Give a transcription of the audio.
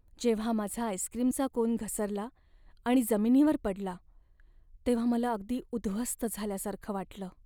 जेव्हा माझा आईस्क्रीमचा कोन घसरला आणि जमिनीवर पडला तेव्हा मला अगदी उद्ध्वस्त झाल्यासारखं वाटलं.